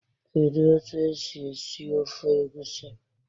Kedu otu esi esi esi ofe Egusi?